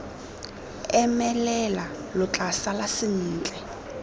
emelela lo tla sala sentle